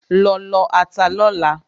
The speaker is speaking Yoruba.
Lọ lọ ata lọ́la!